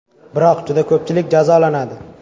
Biroq, juda ko‘pchilik jazolanadi.